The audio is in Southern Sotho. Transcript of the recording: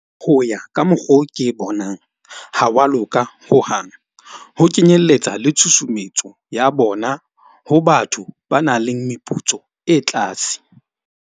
Ho ya ka mokgo ke bonang ha wa loka hohang, ho kenyelletsa le tshusumetso ya bona ho batho ba nang le meputso e tlase.